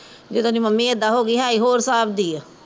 ਜਦੋ ਦੀ ਮੰਮੀ ਇੱਦਾਂ ਹੋ ਗਈ ਹੈ ਹੀਂ ਹੋਰ ਹਿਸਾਬ ਦੀ ਐ